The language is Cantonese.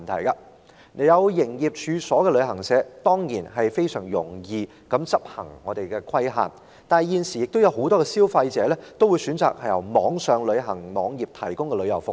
有營業處所的旅行社當然容易規管，但現時很多消費者會選擇由網上旅行社提供的服務。